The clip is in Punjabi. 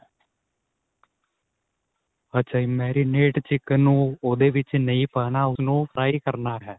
ਅੱਛਾ ਜੀ marinate chicken ਨੂੰ ਉਹਦੇ ਵਿੱਚ ਨਹੀਂ ਪਾਣਾ ਉਸਨੂੰ fry ਕਰਨਾ ਹੈ.